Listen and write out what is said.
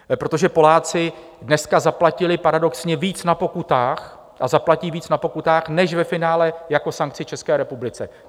Protože Poláci dneska zaplatili paradoxně víc na pokutách a zaplatí víc na pokutách než ve finále jako sankci České republice.